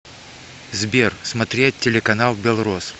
сбер смотреть телеканал белрос